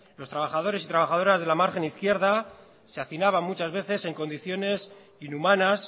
los trabajadores y trabajadoras de la margen izquierda se hacinaban muchas veces en condiciones inhumanas